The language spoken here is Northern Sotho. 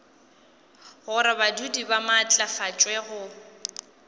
gore badudi ba maatlafatšwe go